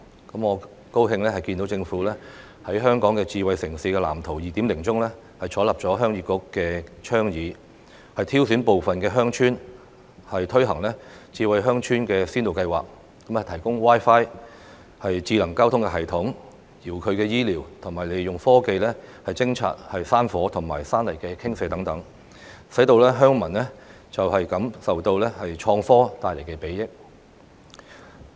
我很高興看見政府在《香港智慧城市藍圖 2.0》中採納鄉議局的倡議，挑選部分的鄉村推行智慧鄉村先導計劃，提供 Wi-Fi、智能交通系統、遙距醫療和利用科技偵察山火和山泥傾瀉等，讓鄉民感受到創科帶來的裨益。